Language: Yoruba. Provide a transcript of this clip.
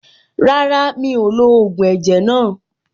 Rárá, mi ò lo ògùn ẹ̀jẹ̀ náà.